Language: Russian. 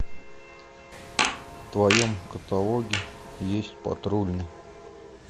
в твоем каталоге есть патрульный